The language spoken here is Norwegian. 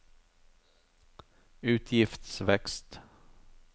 utgiftsvekst